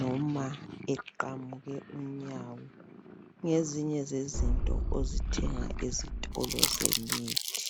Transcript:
noma eqamuke unyawo. Ngezinye zezinto ozithenga ezitolo zemithi.